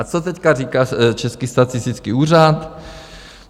A co teď říká Český statistický úřad?